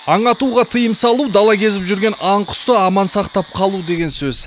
аң атуға тыйым салу дала кезіп жүрген аң құсты аман сақтап қалу деген сөз